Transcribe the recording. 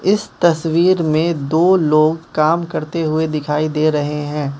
इस तस्वीर मे दो लोग काम करते हुए दिखाई दे रहे है।